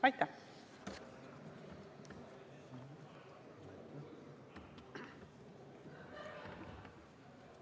Aitäh!